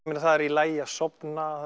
það er í lagi að sofna